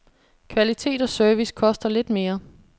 Kvalitet og service koster lidt mere.